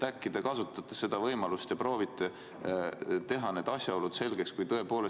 Äkki te kasutate seda võimalust ja proovite need asjaolud selgeks teha?